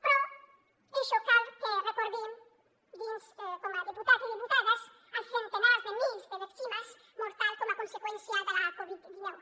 per això cal que recordin dins com a diputat i diputades els centenars de mils de víctimes mortals com a conseqüència de la covid dinou